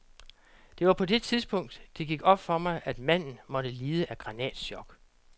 Det var på det tidspunkt, det gik op for mig, at manden måtte lide af granatchok.